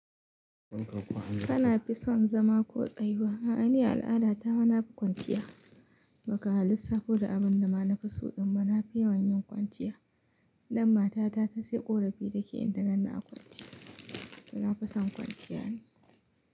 Kana fi son zama ko tsayuwa? A'a ni al'ada ta ma nafi kwanciya. Maka ma lissafo da abin da na fi so, amma na fi yawan yin kwanciya. Dan mata ta ta sai ƙorafi take inta ganni a kwanciya. Na fi son kwanciya ne.